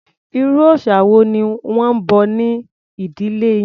Irú òrìsà wo ni wọ́n ń bọ ní ìdílé yín?